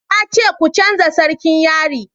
na ce ku canja sarkin yari!